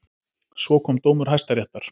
Svo kom dómur Hæstaréttar.